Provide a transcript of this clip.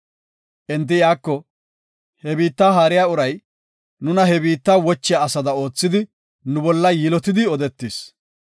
Enti iyako, “He biitta haariya uray, nuna he biitta wochiya asada oothidi nu bolla yilotidi odetis.